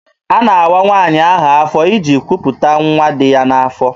A na-awa nwaanyị ahụ afọ iji kwuputa nwa dị ya n'afọ.